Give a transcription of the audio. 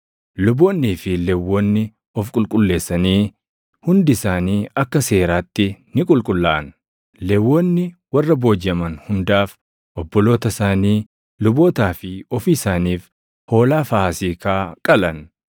Luboonnii fi Lewwonni of qulqulleessanii hundi isaanii akka seeraatti ni qulqullaaʼan. Lewwonni warra boojiʼaman hundaaf, obboloota isaanii lubootaa fi ofii isaaniif hoolaa Faasiikaa qalan.